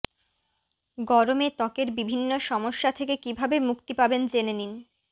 গরমে ত্বকের বিভিন্ন সমস্যা থেকে কীভাবে মুক্তি পাবেন জেনে নিন